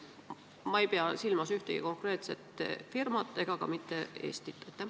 Ma ei pea silmas ühtegi konkreetset firmat ega ka mitte Eestit.